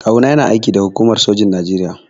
Kawu na yana aiki da hukumar sojin Naijeria.